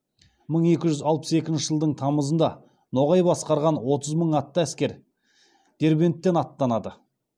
мың екі жүз алпыс екінші жылдың тамызында ноғай басқарған отыз мың атты әскер дербенттен аттанады